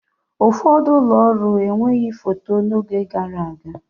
Ụfọdụ ụlọ ọrụ enweghị foto n'oge gara aga.